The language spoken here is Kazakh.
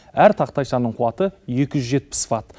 әр тақтайшаның қуаты екі жүз жетпіс ватт